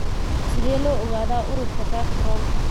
Sidee loo ogaadaa ururka VACTERL?